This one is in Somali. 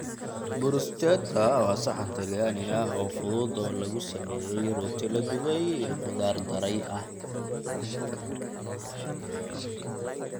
Bruschetta waa saxan talyaani ah oo fudud oo lagu sameeyay rooti la dubay iyo khudaar daray ah.